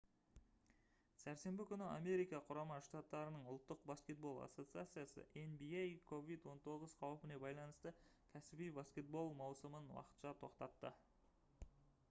сәрсенбі күні америка құрама штаттарының ұлттық баскетбол ассоциациясы nba covid-19 қаупіне байланысты кәсіби баскетбол маусымын уақытша тоқтатты